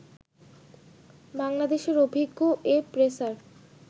বাংলাদেশের অভিজ্ঞ এ পেসার